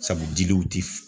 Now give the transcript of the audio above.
Sabu diliw ti f